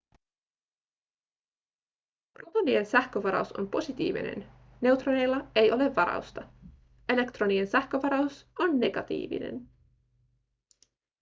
protonien sähkövaraus on positiivinen neutroneilla ei ole varausta elektronien sähkövaraus on negatiivinen